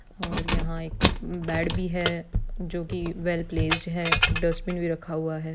और यहाँ पर एक बेड़ भी है जो की वेल प्लेस्ड है और यहाँ पर डस्टबिन भी रखा हुआ है।